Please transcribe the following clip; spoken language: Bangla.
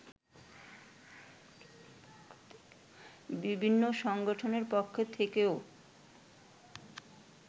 বিভিন্ন সংগঠনের পক্ষ থেকেও